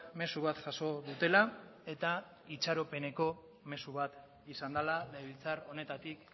mezu bat jaso dutela eta itxaropeneko mezu bat izan dela legebiltzar honetatik